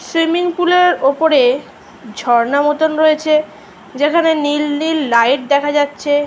Swimming পুলের ওপরে ঝর্ণা মতো রয়েছে যেখানে নীল নীল লাইট দেখা যাচ্ছে।